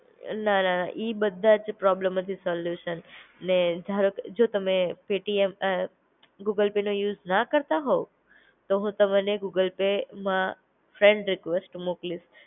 ન ન ન ઈ બધા પ્રોબ્લમ આજુ સોલ્યૂશન ને ધારો જો તમે પેટીએમ અ ગૂગલ પે નો યુઝ ના કરતા હોવ, તો હું તમને ગૂગલ પેમાં ફ્રેન્ડ રિક્વેસ્ટ મોકલીશ